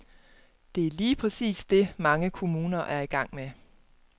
Det er lige præcis det, mange kommuner er i gang med.